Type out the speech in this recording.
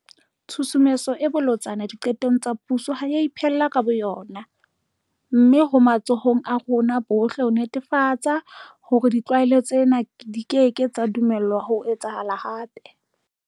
Tshusumetso e bolotsana diqetong tsa puso ha e a iphella ka bo yona. Mme ho matsohong a rona bohle ho netefatsa hore ditlwaelo tsena di keke tsa dumellwa ho etsahala hape.